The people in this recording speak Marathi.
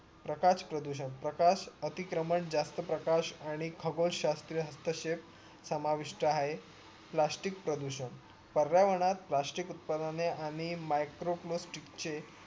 प्रकाश प्रदूषण प्रकाश अतिक्रमण जास्त प्रकाश आणि खगोश शाश्र तसेस समाविष्ट आहे plastic प्रदूषण पर्यावरणात plastic उत्पादने आणि microplastics चे